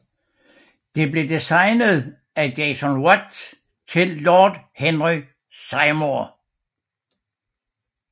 Det blev designet af James Wyatt til Lord Henry Seymour